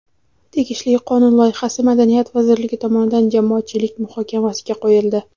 Tegishli qonun loyihasi Madaniyat vazirligi tomonidan jamoatchilik muhokamasiga qo‘yildi.